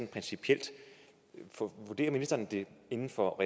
principielt svar vurderer ministeren at det er inden for